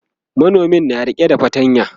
manomin na rike da fatanya